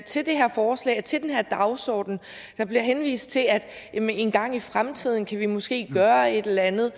til det her forslag og til den her dagsorden der bliver henvist til at engang i fremtiden kan vi måske gøre et eller andet